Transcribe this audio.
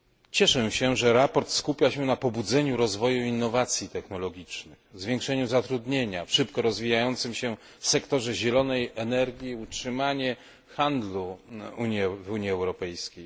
Cieszę się, że sprawozdanie skupia się na pobudzeniu rozwoju innowacyjności technologicznej, zwiększeniu zatrudnienia w szybko rozwijającym się sektorze zielonej energii, utrzymaniu handlu w Unii Europejskiej.